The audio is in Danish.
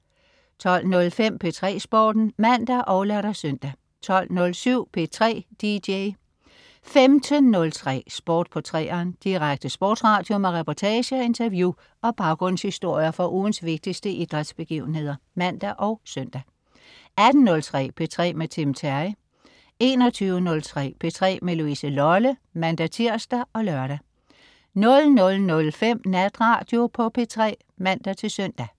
12.05 P3 Sporten (man og lør-søn) 12.07 P3 dj 15.03 Sport på 3'eren. Direkte sportsradio med reportager, interview og baggrundshistorier fra ugens vigtigste idrætsbegivenheder (man og søn) 18.03 P3 med Tim Terry 21.03 P3 med Louise Lolle (man-tirs og lør) 00.05 Natradio på P3 (man-søn)